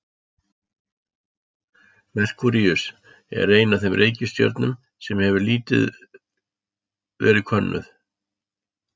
Merkúríus er ein af þeim reikistjörnum sem hefur lítið verið könnuð.